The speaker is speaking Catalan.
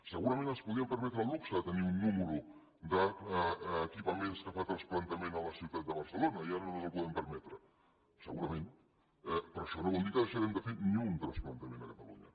segurament ens podríem permetre el luxe de tenir un nombre d’equipaments que fan transplantament a la ciutat de barcelona i ara no ens el podem permetre segurament eh però això no vol dir que deixarem de fer ni un transplantament a catalunya